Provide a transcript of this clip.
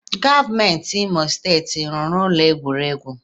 Gọvanọ Imo steeti ọ rụrụ ụlọ egwuregwu?